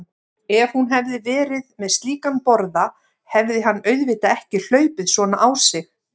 Ef hún hefði verið með slíkan borða hefði hann auðvitað ekki hlaupið svona á sig.